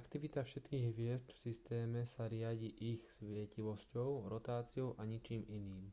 aktivita všetkých hviezd v systéme sa riadi ich svietivosťou rotáciou a ničím iným